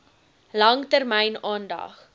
lang termyn aandag